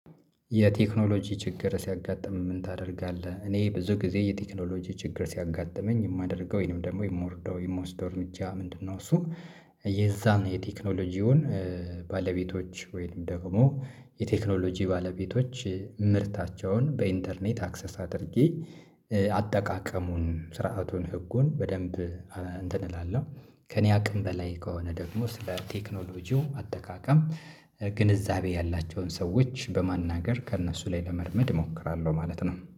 የቴክኖሎጂ ችግር ሲያጋጥም ምን ታደርጋለህ? እኔ ብዙ ጊዜ የቴክኖሎጂ ችግር ሲያጋጥመኝ የማደርገው ወይንም ደግሞ የምወርደው የምወስደው እርምጃ ምንድነው? እሱ የዛን የቴክኖሎጂውን ባለቤቶች ወይንም ደግሞ የቴክኖሎጂ ባለቤቶች ምርታቸውን በኢንተርኔት አክሰስ አድርጌ አጠቃቀሙን ስርዓቱን ህጉን በደንብ እንትን እላለሁ ከእኔ አቅም በላይ ከሆነ ደግሞ ስለ ቴክኖሎጂው አጠቃቀም ግንዛቤ ያላቸውን ሰዎች በማናገር ከእነሱ ላይ ለመልመድ እሞክራለሁ ማለት ነው